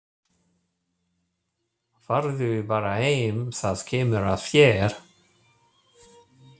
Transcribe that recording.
Farðu bara heim, það kemur að þér.